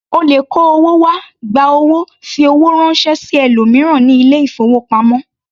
O lè kó owó wá, gba owó, fi owó ránṣẹ́ sí ẹlòmíràn ní ilé-ìfowópamọ́.